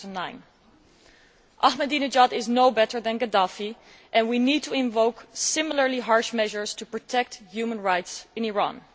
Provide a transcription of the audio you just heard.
2009. Ahmadinejad is no better than Gaddafi and we need to invoke similarly harsh measures to protect human rights in Iran.